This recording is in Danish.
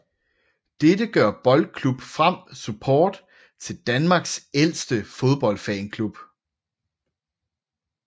Dette gør BK Frem Support til Danmarks ældste fodboldfanklub